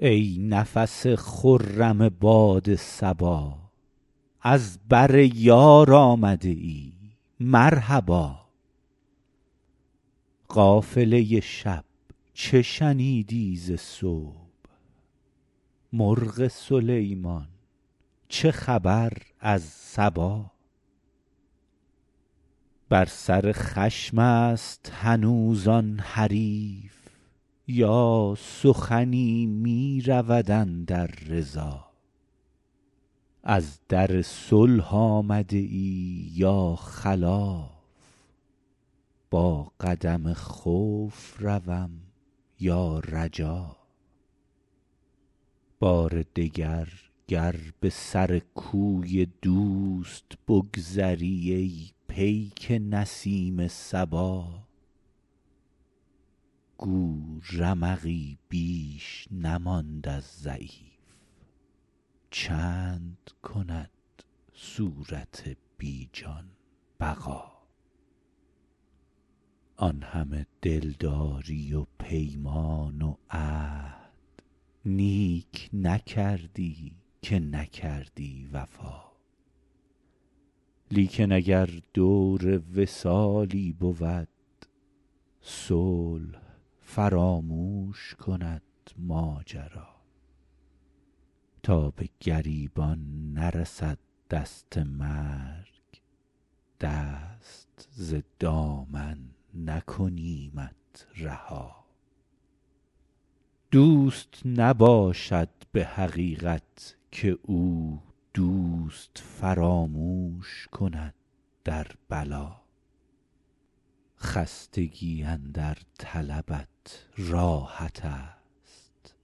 ای نفس خرم باد صبا از بر یار آمده ای مرحبا قافله شب چه شنیدی ز صبح مرغ سلیمان چه خبر از سبا بر سر خشم است هنوز آن حریف یا سخنی می رود اندر رضا از در صلح آمده ای یا خلاف با قدم خوف روم یا رجا بار دگر گر به سر کوی دوست بگذری ای پیک نسیم صبا گو رمقی بیش نماند از ضعیف چند کند صورت بی جان بقا آن همه دلداری و پیمان و عهد نیک نکردی که نکردی وفا لیکن اگر دور وصالی بود صلح فراموش کند ماجرا تا به گریبان نرسد دست مرگ دست ز دامن نکنیمت رها دوست نباشد به حقیقت که او دوست فراموش کند در بلا خستگی اندر طلبت راحت است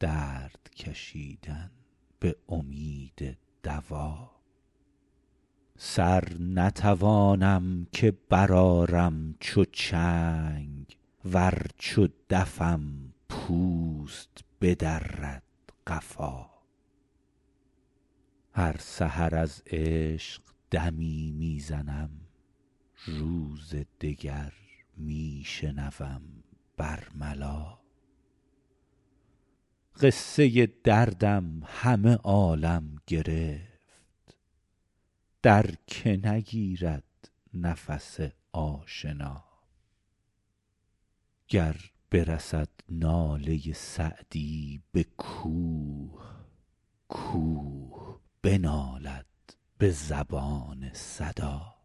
درد کشیدن به امید دوا سر نتوانم که برآرم چو چنگ ور چو دفم پوست بدرد قفا هر سحر از عشق دمی می زنم روز دگر می شنوم بر ملا قصه دردم همه عالم گرفت در که نگیرد نفس آشنا گر برسد ناله سعدی به کوه کوه بنالد به زبان صدا